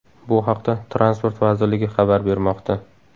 Bu haqda Transport vazirligi xabar bermoqda .